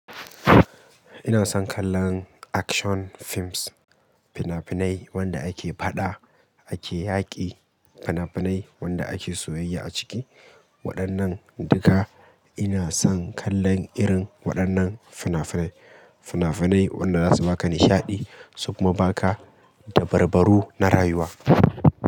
Ina son kallon action films, fina-finai wanda ake fada, ake yaƙi, fina-finai wanda ake soyayya a ciki. Waɗannan duka ina son kallon irin waɗannan fina-finai. Fina-finai wanda zasu baka nishaɗi, sukuma baka da barbaru na rayuwa.